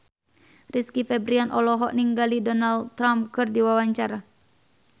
Rizky Febian olohok ningali Donald Trump keur diwawancara